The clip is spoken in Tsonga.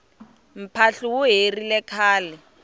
mphahlu wu herile khale